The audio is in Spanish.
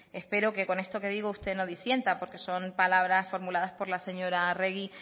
espero que con esto que digo usted no disienta porque son palabras formuladas por la señora arregi